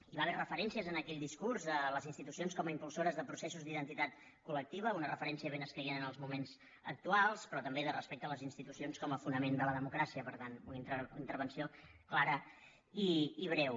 hi va haver referències en aquell discurs de les institucions com impulsores de processos d’identitat col·escaient en els moments actuals però també de respecte a les institucions com a fonament de la democràcia per tant una intervenció clara i breu